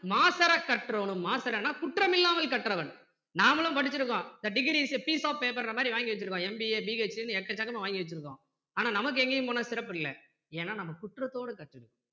மாசறக் கற்றோனும் மாசறன்னா குற்றமில்லாமல் கற்றவன் நாம்மளும் படிச்சி இருக்கோம் the degree is a piece of paper ன்ற மாதிரி வாங்கி வச்சிருக்கோம் MBABH எக்கச்சக்கமா வாங்கி வச்சிருக்கோம் ஆனா நமக்கு எங்கையும் போனா சிறப்பில்ல ஏன்னா நம்ம குற்றத்தோட கற்றுருக்கோம்.